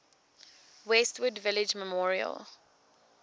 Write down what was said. westwood village memorial